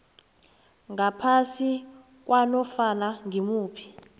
ngaphasi kwanofana ngimuphi